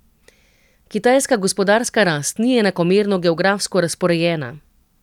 Kitajska gospodarska rast ni enakomerno geografsko razporejena.